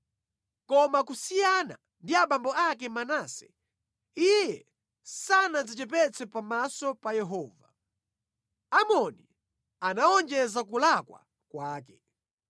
Koma kusiyana ndi abambo ake Manase, iye sanadzichepetse pamaso pa Yehova. Amoni anawonjeza kulakwa kwake.